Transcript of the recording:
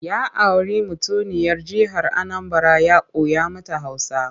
Ya auri mutuniyar jihar Anambara ya koya mata Hausa.